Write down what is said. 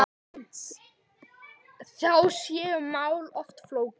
Þá séu mál oft flókin.